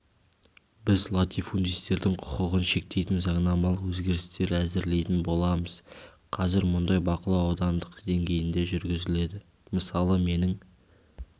біз латифундистердің құқығын шектейтін заңнамлық өзгерістер әзірлейтін боламыз қазір мұндай бақылау аудандық деңгейінде жүргізіледі мысалы менің